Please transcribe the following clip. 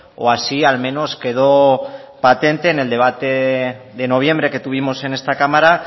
o así al menos quedó patente en el debate de noviembre que tuvimos en esta cámara